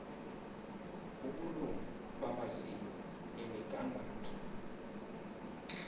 ubulungu bamaziko emigangatho